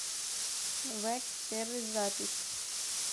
вэг сервис запись